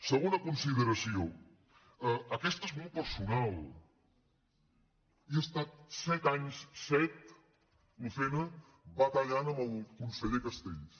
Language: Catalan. segona consideració aquesta és molt personal he es·tat set anys set lucena batallant amb el conseller castells